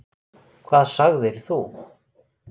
Hvað sagðir þú?